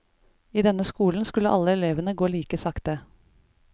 I denne skolen skulle alle elevene gå like sakte.